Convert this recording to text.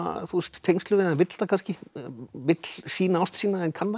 tengslum við þau en vill það kannski vill sýna ást sína en kann það